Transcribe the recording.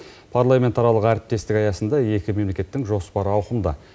парламентаралық әріптестік аясында екі мемлекеттің жоспары ауқымды